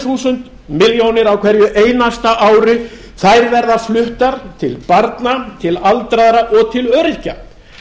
þúsund milljónir á hverju einasta ári verða fluttar til barna til aldraðra og til öryrkja